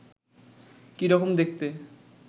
কি রকম দেখতে